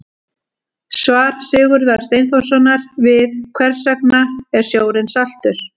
Svar Sigurðar Steinþórssonar við Hvers vegna er sjórinn saltur?